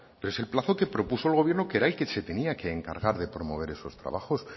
pero es el plazo que propuso el gobierno que era el que se tenía que encargar de promover esos trabajos